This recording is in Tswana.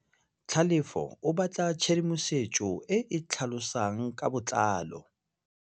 Tlhalefô o batla tshedimosetsô e e tlhalosang ka botlalô.